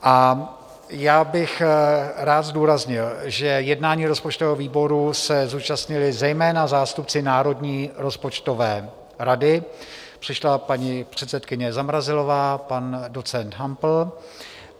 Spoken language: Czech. A já bych rád zdůraznil, že jednání rozpočtového výboru se zúčastnili zejména zástupci Národní rozpočtové rady, přišla paní předsedkyně Zamrazilová, pan docent Hampl.